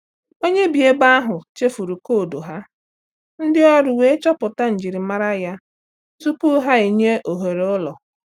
Onye bi ebi ahụ chefuru koodu ha, ndị ọrụ wee chọpụta njirimara ya tupu ha enye ohere ụlọ.